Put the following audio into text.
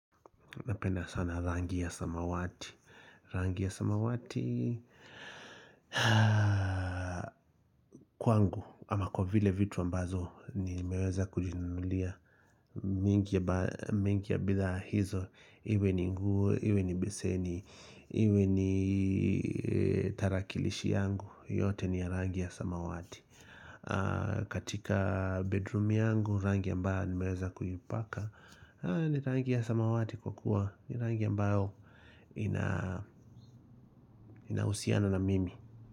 Napenda sana rangi ya samawati Rangi ya samawati Kwangu ama kwa vile vitu ambazo Nimeweza kujinunulia mingi ya bidhaa hizo Iwe ni nguo Iwe ni beseni Iwe ni tarakilishi yangu yote ni ya rangi ya samawati katika bedroom yangu Rangi ambayo Nimeweza kujipaka ni rangi ya samawati kwa kuwa ni rangi ambayo inauhusiano na mimi.